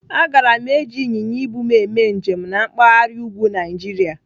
Agara m eji ịnyịnya ibu m eme njem na mpaghara úgwú Naijiria.